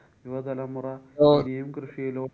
യുവ തലമുറ ഇനിയും കൃഷിയിലോ~